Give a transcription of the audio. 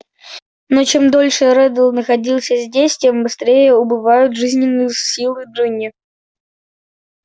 но чем дольше реддл находился здесь тем быстрее убывают жизненные силы джинни